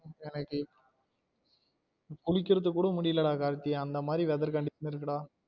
குளிக்குரதுக்கு கூட முடியல டா கார்த்தி அந்த மாதிரி weather condition இருக்கு டா